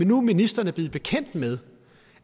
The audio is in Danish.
nu ministeren er blevet bekendt med